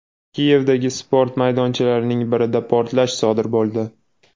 Kiyevdagi sport maydonchalarining birida portlash sodir bo‘ldi.